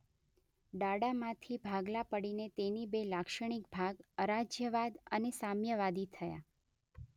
ડાડામાંથી ભાગલા પડીને તેની બે લાક્ષણિક ભાગ અરાજ્યવાદ અને સામ્યવાદી થયા